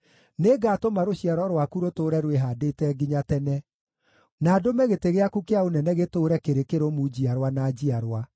‘Nĩngatũma rũciaro rwaku rũtũũre rwĩhaandĩte nginya tene, na ndũme gĩtĩ gĩaku kĩa ũnene gĩtũũre kĩrĩ kĩrũmu njiarwa na njiarwa.’ ”